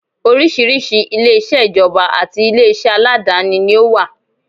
Oríṣiríṣi ilé-iṣẹ́ ìjọba àti ilé iṣẹ́ aládááni ni ó wà